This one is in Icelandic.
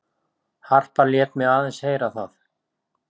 Harpa lét mig aðeins heyra það.